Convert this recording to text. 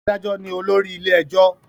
Adájo ní olórí ilé ẹjọ